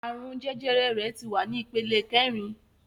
Àrùn jẹjẹrẹ rẹ̀ tí wà ní ìpele kẹrin